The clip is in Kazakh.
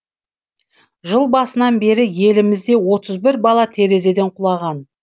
жыл басынан бері елімізде отыз бір бала терезеден құлаған